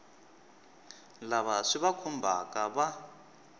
lava swi va khumbhaka va